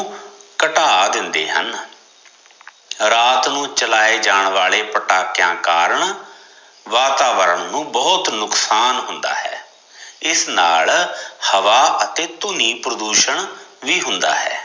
ਘਟਾ ਦਿੰਦੇ ਹਨ, ਰਾਤ ਨੂੰ ਚਲਾਏ ਜਾਣ ਵਾਲੇ ਪਟਾਕਿਆ ਕਾਰਨ ਵਾਤਾਵਰਨ ਨੂੰ ਬਹੁਤ ਨੁਕਸਾਨ ਹੁੰਦਾ ਹੈ, ਇਸ ਨਾਲ ਹਵਾ ਅਤੇ ਧੁਨੀ ਪ੍ਰਦੂਸ਼ਣ ਵੀ ਹੁੰਦਾ ਹੈ